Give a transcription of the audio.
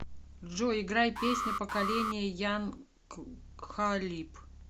джой играй песня поколения ян кхалиб